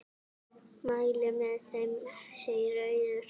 Mæli með þeim, segir Auður.